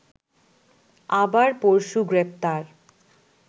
আবার পরশু গ্রেপ্তার